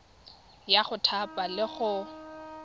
ya go thapa le go